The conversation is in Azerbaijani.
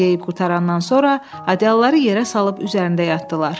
Hamısını yeyib qurtarandan sonra adyalları yerə salıb üzərində yatdılar.